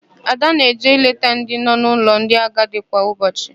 Ada na-eje eleta ndị nọ n'ụlọ ndị agadi kwa ụbọchị.